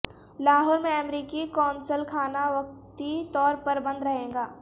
لاہور میں امریکی قونصل خانہ وقتی طور پر بند رہے گا